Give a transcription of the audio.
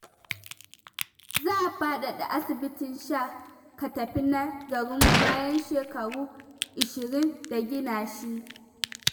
Za a faɗada asibitin sha-ka-tafi na garinmu, bayan shekaru 20 da gina shi.